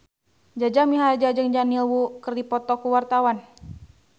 Jaja Mihardja jeung Daniel Wu keur dipoto ku wartawan